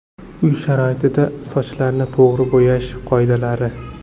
Uy sharoitida sochlarni to‘g‘ri bo‘yash qoidalari.